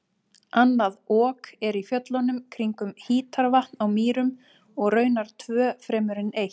Annað Ok er í fjöllunum kringum Hítarvatn á Mýrum og raunar tvö fremur en eitt.